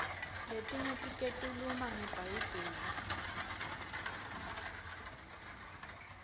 letinye tiketuluma nge bhayibheli